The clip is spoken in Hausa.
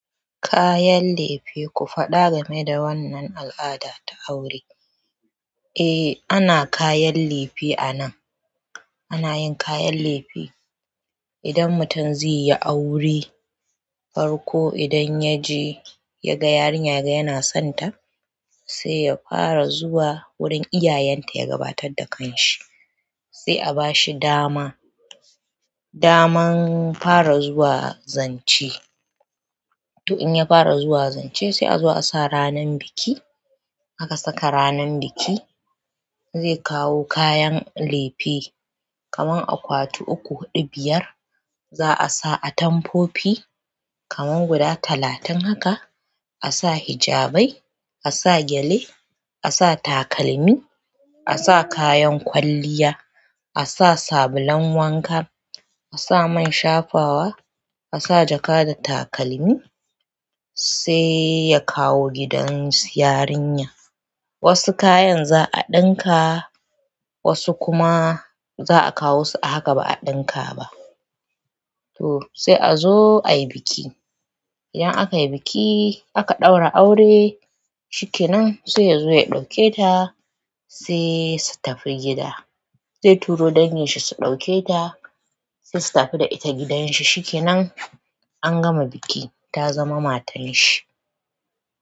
Kayan lefe, ku faɗa game da wannan al'ada ta aure. Eh ana kayan lefe anan, ana yin kayan lefe idan mutum zaiyi aure farko idan yaje yaga yarinya yana sonta sai ya fara zuwa wurin iyayenta ya gabatar da kan shi, sai a ba shi dama, daman fara zuwa zance. To in ya fara zuwa zance sai a zo a sa ranan biki aka saka ranan biki zai kawo kayan lefe kaman akwatu uku, huɗu, biyar za'a sa atamfofi kamar guda talatin haka a sa hijabbai, a sa gyale, a sa takalmi, a sa kayan kwalliya, a sa sabulan wanka, a sa man shafawa, a sa jaka da takalmi sai ya kawo gidan su yarinyar wasu kayan za a ɗinka wasu kuma za a kawo su a haka ba a ɗinka ba. To sai a zo a yi biki idan aka ɗaura aure shikenan sai ya zo ya ɗauke ta sai su tafi gida zai turo dangin shi su ɗauke ta sai su tafi da ita gidan shi shikenan an gama biki ta zama matan shi.